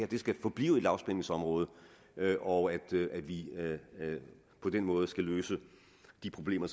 det skal forblive et lavspændingsområde og at vi på den måde skal løse de problemer